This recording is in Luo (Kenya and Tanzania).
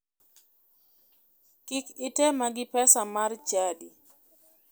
Kik itema gi pesa mar chadi.